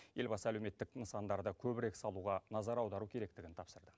елбасы әлеуметтік нысандарды көбірек салуға назар аудару керектігін тапсырды